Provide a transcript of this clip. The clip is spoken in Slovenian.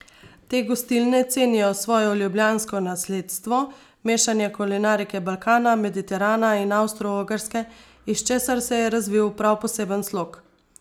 Te gostilne cenijo svoje ljubljansko nasledstvo mešanja kulinarike Balkana, Mediterana in Avstroogrske, iz česar se je razvil prav poseben slog.